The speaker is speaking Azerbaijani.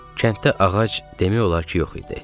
Kənddə ağac demək olar ki, yox idi.